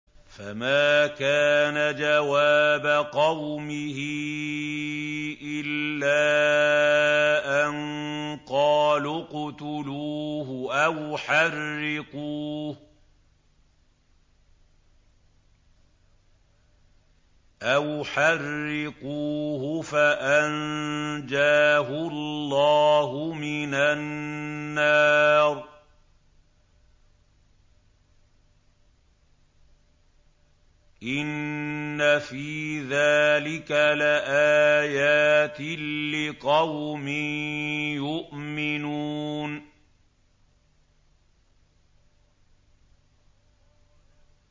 فَمَا كَانَ جَوَابَ قَوْمِهِ إِلَّا أَن قَالُوا اقْتُلُوهُ أَوْ حَرِّقُوهُ فَأَنجَاهُ اللَّهُ مِنَ النَّارِ ۚ إِنَّ فِي ذَٰلِكَ لَآيَاتٍ لِّقَوْمٍ يُؤْمِنُونَ